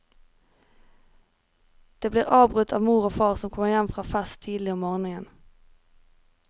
De blir avbrutt av mor og far som kommer hjem fra fest tidlig om morgenen.